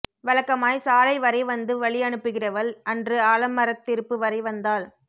வழக்கமாய் சாலை வரை வந்து வழி அனுப்புகிறவள் அன்று ஆலமரத் திருப்பு வரை வந்தாள்